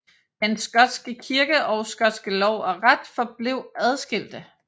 Den skotske kirke og skotske lov og ret forblev adskilte